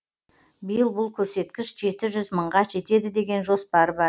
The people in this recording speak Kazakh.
биыл бұл көрсеткіш жеті жүз мыңға жетеді деген жоспар бар